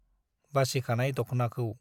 बासिखानाय दख्नाखौ